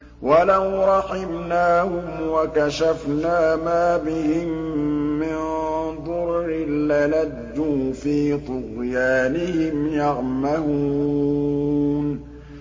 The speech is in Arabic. ۞ وَلَوْ رَحِمْنَاهُمْ وَكَشَفْنَا مَا بِهِم مِّن ضُرٍّ لَّلَجُّوا فِي طُغْيَانِهِمْ يَعْمَهُونَ